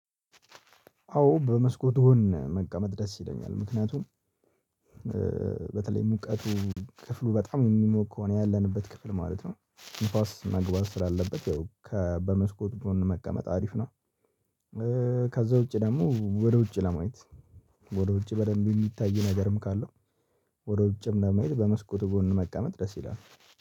አዎ በመስኮት ጎን መቀመጥ ደስ ይለኛል ምክንያቱም በተለይ ሙቀቱ ክፍሉ በጣም የሚሞቅ ከሆነ ያለንበት ክፍል ማለት ነው ንፋስ መግባት ስላለበት ከ በመስኮት ጎን መቀመጥ አሪፍ ነው። ከዛ ውጪ ደግሞ ወደ ውጪ ለማየት ወደ ውጪ በደንብ የሚታይ ነገርም ካለው ወደ ውጭም ለመሄድ በመስኮት ጎን መቀመጥ ደስ ይላል